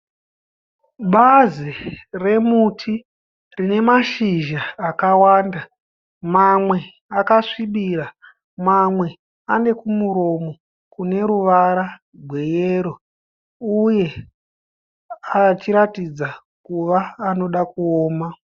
Bazi remuti rine mashizha akawanda. Mamwe akasvibira, mamwe ane kumuromo kune ruvara gweyero uye achiratidza kuva anoda kuoma.